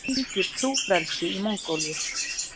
Það ríkir trúfrelsi í Mongólíu.